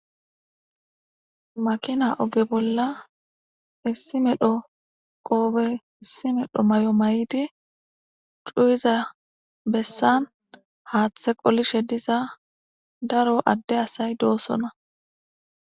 Malanni oga bolla issi medhdho qobe issi medhdho mayo mayida cuyizza bessani daro adee asayi dosona.